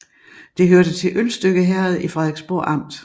Det hørte til Ølstykke Herred i Frederiksborg Amt